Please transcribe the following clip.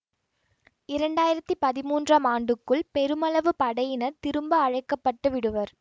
இரண்டாயிரத்தி பதிமூன்றாம் ஆண்டுக்குள் பெருமளவு படையினர் திரும்ப அழைக்க பட்டு விடுவர்